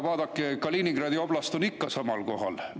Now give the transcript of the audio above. Vaadake, Kaliningradi oblast on ikka samas kohas.